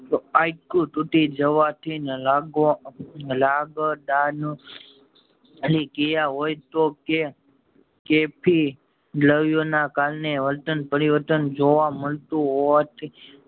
તો હાડકું તૂટી જવાથી લાગો લગડાનું થી કયા હોય કે કેફી લોયુ ના કારણે વર્તન પરિવર્તન જોવા મળતું હોવાથી